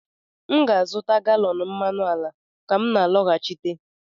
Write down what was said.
m ga-azụta galọn mmanụ ala ka m na-alọghachite